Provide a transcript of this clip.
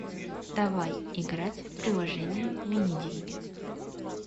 давай играть в приложение мини деньги